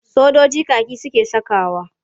Sojiji kaki suke sakawa.